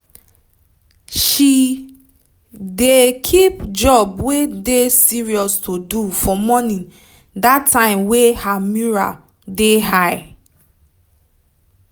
she dey keep job wey dey serious to do for morning dat time her mural dey high